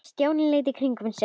Stjáni leit í kringum sig.